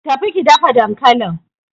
Tafi ki dafa dankalin!